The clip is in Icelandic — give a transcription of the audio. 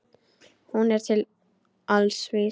Hún er til alls vís.